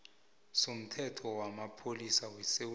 somthetho wamapholisa wesewula